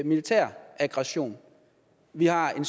militær aggression vi har en